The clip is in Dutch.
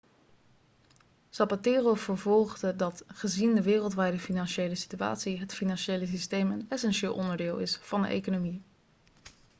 zapatero vervolgde dat gezien de wereldwijde financiële situatie het financiële systeem een essentieel onderdeel is van de economie